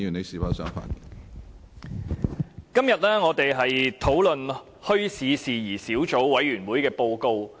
主席，今天我們討論墟市事宜小組委員會的報告。